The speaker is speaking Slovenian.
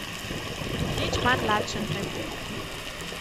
Nič manj lačen ne bo.